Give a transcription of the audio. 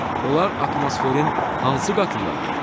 Onlar atmosferin hansı qatındadır?